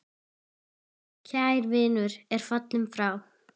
Kær vinur er fallinn frá.